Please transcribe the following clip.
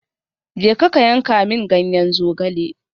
Jeka ka yanka min ganyen zogale.